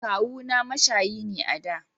Kawu na mashayi ne da